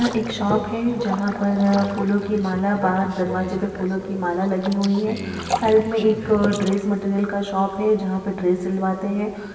यहँ एक शॉप है जहाँ पर फूलों की माला बाहर दरवाजे पर फूलों की माला लगी हुई है। साइड में एक ड्रेस मटेरियल का शॉप है जहां पे ड्रेस सिलवाते हैं।